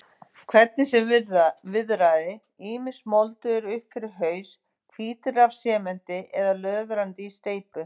Hvernig sem viðraði, ýmist moldugir upp fyrir haus, hvítir af sementi eða löðrandi í steypu.